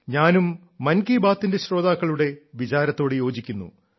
ഞാനും മൻ കീ ബാത്തിന്റെ ശ്രോതാക്കളുടെ വിചാരത്തോട് യോജിക്കുന്നു